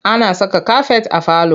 Ana saka kafet a falo.